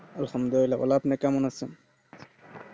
awesome দিয়ে আপনি কেমন আছেন